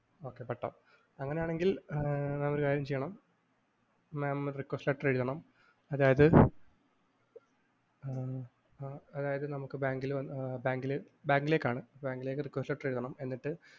okay പട്ടം അങ്ങനെയാണെങ്കില്‍ എന്നാ ഒരു കാര്യം ചെയ്യണം mam ഒരു request letter എഴുതണം അതായതു ആഹ് ഉം ആഹ് അതായത് നമുക്ക് ബാങ്കില്‍ വന്നാല്‍ ബാങ്കില്‍ ബാ ബാങ്കിലേക്കാണ് ബാങ്കിലേക്ക് request letter എഴുതണം